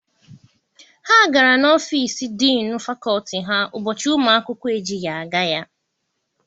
Ha gara n'ọfịịsi diinu fakọlti Ha ụbọchị ụmụ akwụkwọ ejighị aga ya.